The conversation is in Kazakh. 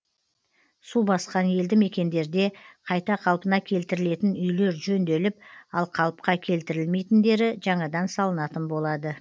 су басқан елді мекендерде қайта қалпына келтірілетін үйлер жөнделіп ал қалыпқа келтірілмейтіндері жаңадан салынатын болады